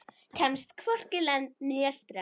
Kemst hvorki lönd né strönd.